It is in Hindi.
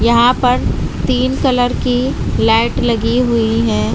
यहां पर तीन कलर की लाइट लगी हुई हैं।